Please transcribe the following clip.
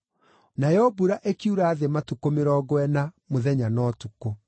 Nayo mbura ĩkiura thĩ matukũ mĩrongo ĩna, mũthenya na ũtukũ.